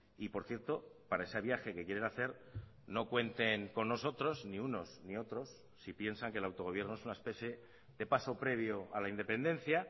y por cierto para ese viaje que quieren hacer no cuenten con nosotros ni unos ni otros si piensan que el autogobierno es una especie de paso previo a la independencia